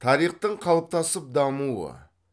тарихтың қалыптасып дамуы